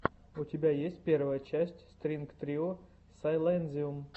у тебя есть первая часть стринг трио сайлэнзиум